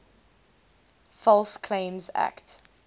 false claims act